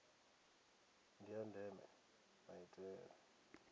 ndi ya ndeme maitele